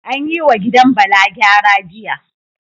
An yi wa gidan Bala gyara, jiya